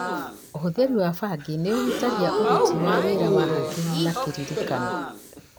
ũhũthĩri wa bangi nĩũhutagia ũruti wa wĩra wa hakiri na kĩririkano